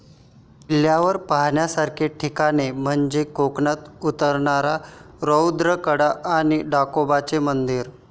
किल्ल्यावर पाहण्यासारखी ठिकाणे म्हणजे कोकणात उतरणारा रौद्र कडा आणि ढाकोबाचे मंदिर.